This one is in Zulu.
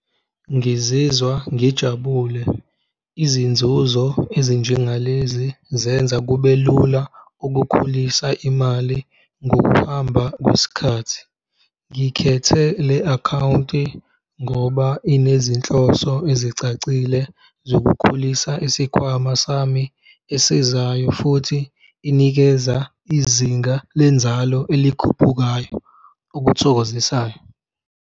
Ngizizwa ngijabule izinzuzo ezinjengalezi zenza kube lula ukukhulisa imali ngokuhamba kwesikhathi. Ngikhethe le akhawunti ngoba inezinhloso ezicacile zokukhulisa isikhwama sami esizayo futhi inikeza izinga lenzalo elikhuphukayo okuthokozisayo.